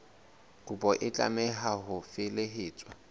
kopo e tlameha ho felehetswa